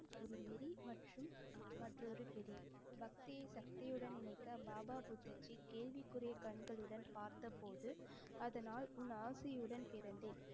ஒரு மிரி மற்றும் மற்றொரு பிரி பக்தியை சக்தியுடன் இணைக்கப் பாபா புத்தாஜி கேள்விக்குரிய கண்களுடன் பார்த்தபோது அதனால் உன் ஆசையுடன் பிறந்தேன்.